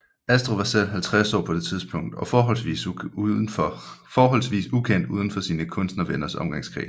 Astrid var selv 50 år på det tidspunkt og forholdsvis ukendt udenfor sine kunstnervenners omgangskreds